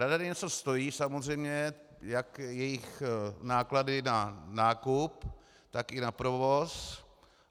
Radary něco stojí samozřejmě, jak jejich náklady na nákup, tak i na provoz.